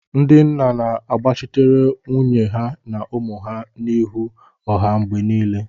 Ndị nna na-agbachitere nwunye ha na ụmụ ha n'ihu ọha mgbe niile